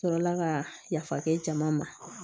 Sɔrɔla ka yafa kɛ jama ma